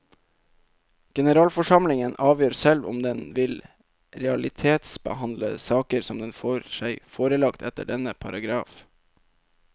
Generalforsamlingen avgjør selv om den vil realitetsbehandle saker som den får seg forelagt etter denne paragraf.